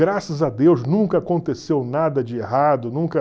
Graças a Deus, nunca aconteceu nada de errado, nunca...